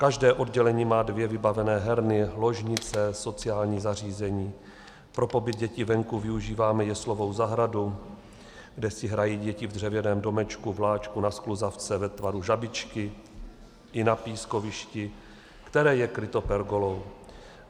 Každé oddělení má dvě vybavené herny, ložnice, sociální zařízení, pro pobyt dětí venku využíváme jeslovou zahradu, kde si hrají děti v dřevěném domečku, vláčku, na skluzavce ve tvaru žabičky i na pískovišti, které je kryto pergolou.